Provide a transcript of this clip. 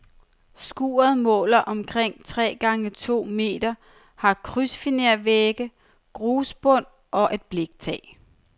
Skuret måler omkring tre gange to meter, har krydsfinervægge, grusbund og et bliktag.